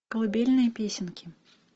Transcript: колыбельные песенки